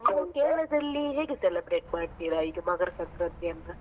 Kerala ದಲ್ಲಿ ಹೇಗೆ celebrate ಮಾಡ್ತೀರಾ ಇದು ಮಕರ ಸಂಕ್ರಾಂತಿಯನ್ನ?